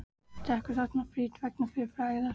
Drekkur þarna frítt vegna fyrri frægðar.